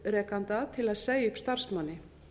atvinnurekanda til að segja upp starfsmanni